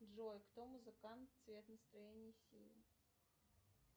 джой кто музыкант цвет настроения синий